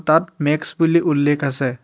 তাত মেক্স বুলি উল্লেখ আছে।